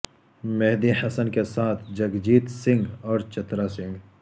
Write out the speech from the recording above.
مہدی حسن کے ساتھ جگجیت سنگھ اور چترا سنگھ